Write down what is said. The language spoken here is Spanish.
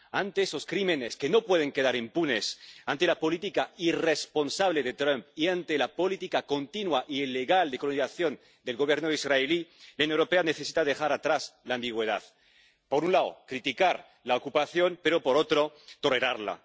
Ante esos crímenes, que no pueden quedar impunes, ante la política irresponsable de Trump y ante la política continua e ilegal de colonización del Gobierno israelí, la Unión Europea necesita dejar atrás la ambigüedad por un lado, criticar la ocupación, pero, por otro, tolerarla.